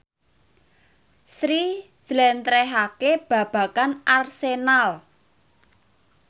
Sri njlentrehake babagan Arsenal